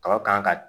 Kaba kan ka